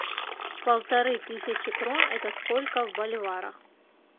полторы тысячи крон это сколько в боливарах